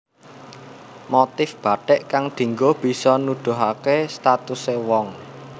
Motif bathik kang dinggo bisa nuduhaké statusé wong